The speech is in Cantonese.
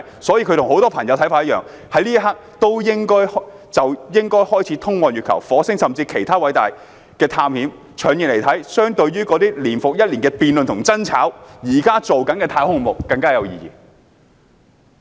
所以，我與很多朋友的看法一樣，此刻應該開始通往月球、火星甚至其他行星的偉大探險。從長遠來看，相對於那些年復一年的辯論和爭吵，現時進行的太空項目更有意義。